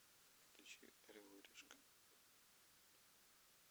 включи орел и решка